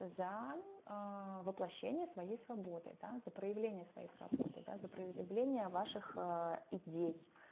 за аа воплощение своей свободы да за проявление свободы да за аа проявления ваших идей